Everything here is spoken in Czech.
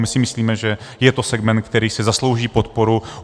My si myslíme, že je to segment, který si zaslouží podporu.